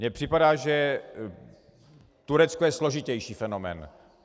Mně připadá, že Turecko je složitější fenomén.